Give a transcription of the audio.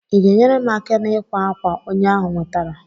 i ga enyere m aka n'ikwa akwa onye ahụ nwetara?